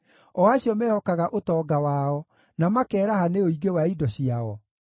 o acio mehokaga ũtonga wao, na makeeraha nĩ ũingĩ wa indo ciao?